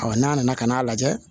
n'a nana ka n'a lajɛ